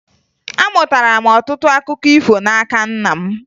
Amụtara m ọtụtụ akụkọ ifo n'aka nna m